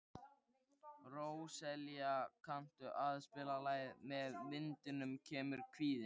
Róselía, kanntu að spila lagið „Með vindinum kemur kvíðinn“?